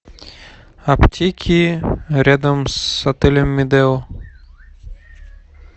аптеки рядом с отелем медео